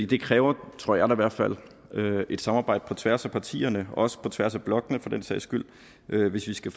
det kræver tror jeg i hvert fald et samarbejde på tværs af partierne og også på tværs af blokkene for den sags skyld hvis vi skal